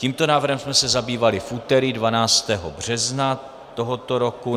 Tímto návrhem jsme se zabývali v úterý 12. března tohoto roku.